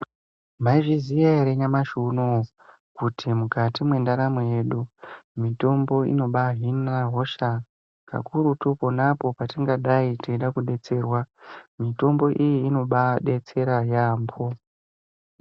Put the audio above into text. Maizviziya ere nyamashi unouyu kuti mukati mwendaramo yedu. Mitombo inobahina hosha kakurutu ponapo patingadai teida kubetsera mitombo iyi inobabetsera yaambo.